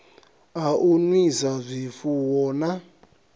a u nwisa zwifuwo na